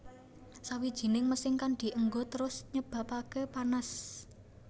Sawijining mesin kang dienggo terus nyebabake panas